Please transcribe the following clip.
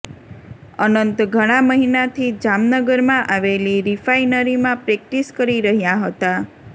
અનંત ઘણા મહિનાથી જામનગરમાં આવેલી રિફાઈનરીમાં પ્રેક્ટિસ કરી રહ્યા હતા